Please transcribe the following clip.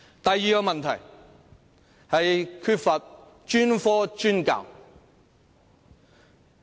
第二個問題是不進行專科專教。